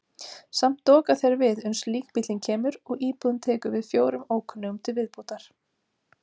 Samt doka þeir við uns líkbíllinn kemur og íbúðin tekur við fjórum ókunnugum til viðbótar.